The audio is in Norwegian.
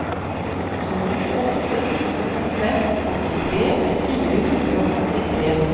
to åtte to fem åttitre fire hundre og åttitre